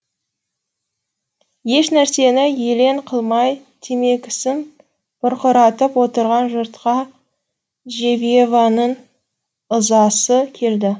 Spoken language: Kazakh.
ешнәрсені елең қылмай темекісін бұрқыратып отырған жұртқа джевьеваның ызасы келді